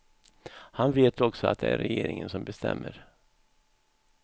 Han vet också att det är regeringen som bestämmer.